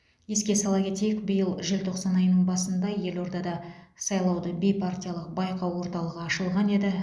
еске сала кетейік биыл желтоқсан айының басында елордада сайлауды бейпартиялық байқау орталығы ашылған еді